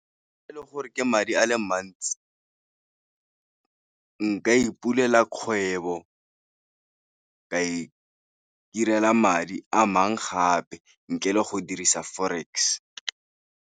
Fa e le gore ke madi a le mantsi, nka ipulela kgwebo, ka itirela madi a mang gape ntle le go dirisa forex.